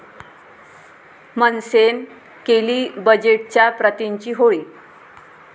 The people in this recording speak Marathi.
मनसेनं केली बजेटच्या प्रतिंची होळी